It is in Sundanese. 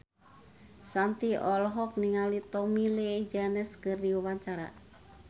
Shanti olohok ningali Tommy Lee Jones keur diwawancara